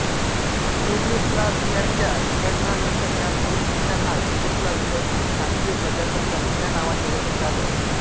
युगोस्लाव्हियाच्या विघटनानंतर ह्या दोन देशांना युगोस्लाव्हियाचे संघीय प्रजासत्ताक ह्या नावाने ओळखले जात असे